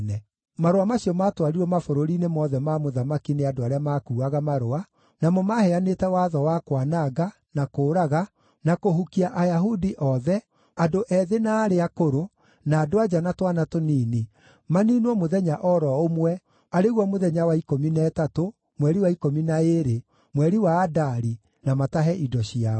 Marũa macio maatwarirwo mabũrũri-inĩ mothe ma mũthamaki nĩ andũ arĩa maakuuaga marũa, namo maaheanĩte watho wa kwananga, na kũũraga, na kũhukia Ayahudi othe, andũ ethĩ na arĩa akũrũ, na andũ-a-nja na twana tũnini, maniinwo mũthenya o ro ũmwe, arĩ guo mũthenya wa ikũmi na ĩtatũ, mweri wa ikũmi na ĩĩrĩ, mweri wa Adari, na matahe indo ciao.